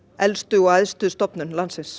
elstu og æðstu stofnun landsins